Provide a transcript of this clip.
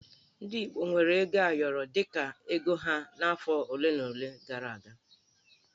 Ndị Igbo weere ego ayọrọ dị ka ego ha n'afọ ole gara aga